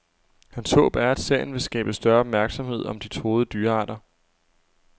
Hans håb er, at serien vil skabe større opmærksomhed om de truede dyrearter.